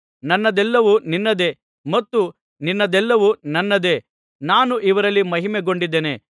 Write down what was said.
ನನ್ನದೆಲ್ಲವೂ ನಿನ್ನದೇ ಮತ್ತು ನಿನ್ನದೆಲ್ಲವೂ ನನ್ನದೇ ನಾನು ಇವರಲ್ಲಿ ಮಹಿಮೆಗೊಂಡಿದ್ದೇನೆ